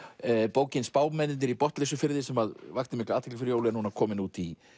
bókin spámennirnir í Botnleysufirði sem vakti mikla athygli fyrir jól er komin út í